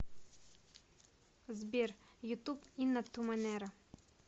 сбер ютуб инна ту манера